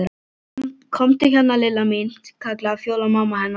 Komdu hérna Lilla mín kallaði Fjóla mamma hennar.